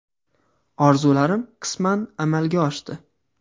“Orzularim qisman amalga oshdi.